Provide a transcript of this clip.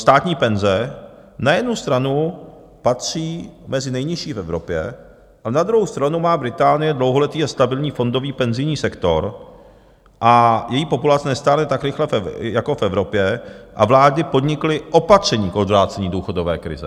Státní penze na jednu stranu patří mezi nejnižší v Evropě, ale na druhou stranu má Británie dlouholetý a stabilní fondový penzijní sektor a její populace nestárne tak rychle jako v Evropě a vlády podnikly opatření k odvrácení důchodové krize.